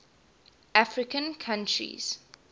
african countries